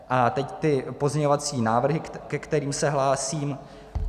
A teď ty pozměňovací návrhy, ke kterým se hlásím.